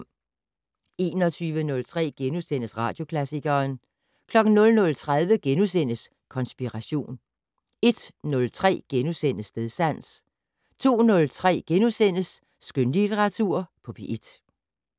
21:03: Radioklassikeren * 00:30: Konspiration * 01:03: Stedsans * 02:03: Skønlitteratur på P1 *